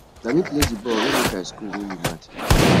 na me play di ball wey make i school win di match